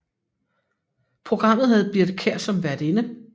Programmet havde Birthe Kjær som værtinde